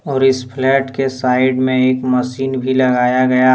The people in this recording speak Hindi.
और इस फ्लैट के साइड में एक मशीन भी लगाया गया--